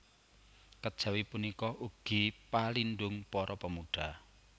Kejawi punika ugi palindung para pemuda